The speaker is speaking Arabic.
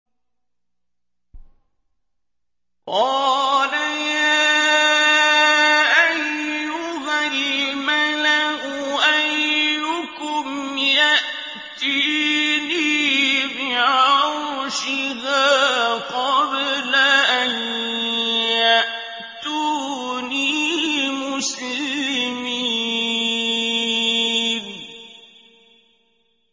قَالَ يَا أَيُّهَا الْمَلَأُ أَيُّكُمْ يَأْتِينِي بِعَرْشِهَا قَبْلَ أَن يَأْتُونِي مُسْلِمِينَ